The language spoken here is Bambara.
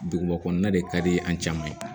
Duguba kɔnɔna de ka di an caman ye